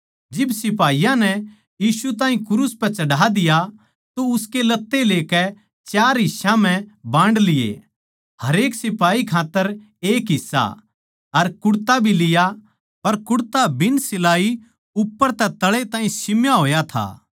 जिब सिपाही नै यीशु ताहीं क्रूस पै चढ़ा दिया तो उसके लत्ते लेकै चार ठोड़ बांड लिए हरेक सिपाही खात्तर एक हिस्सा अर कुड़ता भी लिया पर कुड़ता बिन सिलाई उप्पर तै तळै ताहीं सिम्या होया था